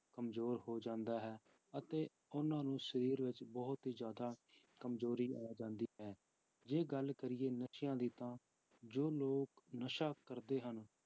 ਕੰਮਜ਼ੋਰ ਹੋ ਜਾਂਦਾ ਹੈ ਅਤੇ ਉਹਨਾਂ ਨੂੰ ਸਰੀਰ ਵਿੱਚ ਬਹੁਤ ਹੀ ਜ਼ਿਆਦਾ ਕੰਮਜ਼ੋਰੀ ਆ ਜਾਂਦੀ ਹੈ, ਜੇ ਗੱਲ ਕਰੀਏ ਨਸ਼ਿਆਂ ਦੀ ਤਾਂ ਜੋ ਲੋਕ ਨਸ਼ਾ ਕਰਦੇ ਹਨ,